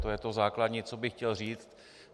To je to základní, co bych chtěl říct.